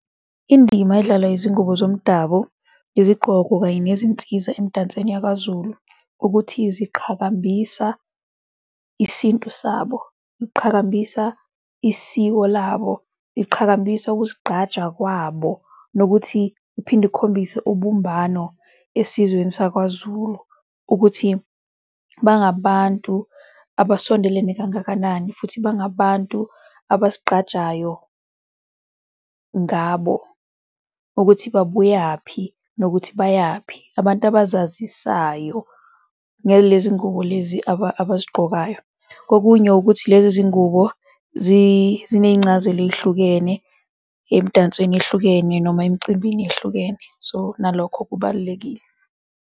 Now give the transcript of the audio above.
Indima edlalwa izingubo zomdabu, izigqoko kanye nezinsiza emidansweni yakwaZulu ukuthi ziqhakambisa isintu sabo, iqhakambisa isiko labo, iqhakambisa ukuzigqaja kwabo nokuthi kuphinde kukhombise ubumbano esizweni sakwaZuku ukuthi bangabantu abasondelene kangakanani futhi bangabantu abazigqajayo ngabo ukuthi babuyaphi nokuthi bayaphi, abantu abazazisayiyo ngalezi iy'ngubo lezi abazigqokayo. Kokunye ukuthi lezi zingubo ziney'ncazelo ey'hlukene emdansweni ehlukene noma emcimbini eyehlukene so nalokho kubalulekile.